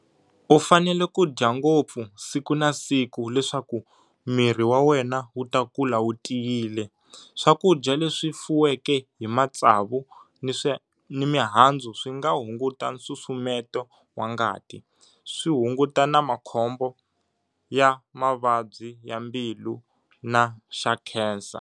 U fanele ku day ngopfu siku na siku leswaku mirhi wa wena wuta kula wu tiyile, swakudya leswi fuweke hi matsavu ni mihandzu swinga hunguta nsusumeto wa ngati, swi hunguta na khombo ra mavabyi ya mbilu na xa khensa.